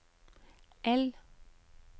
L